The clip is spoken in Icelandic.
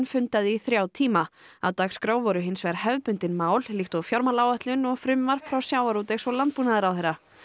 fundaði í þrjá tíma á dagskrá voru hins vegar hefðbundin mál líkt og fjármálaáætlun og frumvarp frá sjávarútvegs og landbúnaðarráðherra